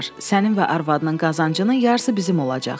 Sənin və arvadının qazancının yarısı bizim olacaq.